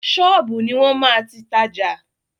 Ṣọ́ọ̀bù ni wọ́n máa ti tajà.